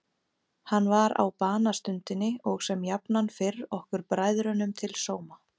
Hann var á banastundinni og sem jafnan fyrr okkur bræðrunum til sóma.